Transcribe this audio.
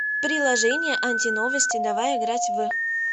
приложение антиновости давай играть в